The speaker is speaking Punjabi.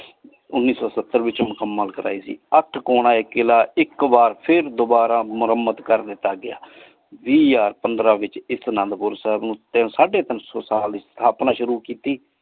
ਉਨੀ ਸੋ ਸਤਰ ਵਿਚ ਮੁਸ੍ਮਤ ਕਰਾਈ ਸੀ। ਅਠ ਕੋਨਾ ਇਹ ਕਿਲਾ ਇਕ ਬਾਰ ਫਿਰ ਦੋਬਾਰਾ ਮੁਰਾਮਤ ਕੀਤਾ ਗਯਾ ਵੀਹ ਹਜ਼ਾਰ ਪੰਦਰਾਂ ਵਿਚ ਇਸ ਅਨੰਦੁਪੁਰ ਸਾਹਿਬ ਨੂ ਸਾਡੀ ਤੀਨ ਸੋ ਸਾਲ ਇਸ੍ਥਾਪ੍ਨਾ ਸ਼ੁਰੂ ਕੀਤੀ।